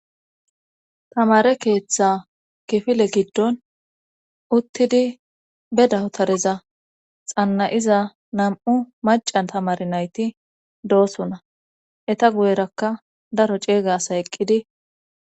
tamare keeththa gifile giddon uttidi be dahutariza xannay7iza nam7u macan tamare nayti doosonna eta guyerakka daro ceeygasa eqqidi